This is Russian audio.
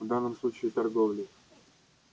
в данном случае торговлей